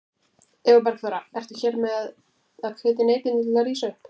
Eva Bergþóra: Ertu hér með að hvetja neytendur til að rísa upp?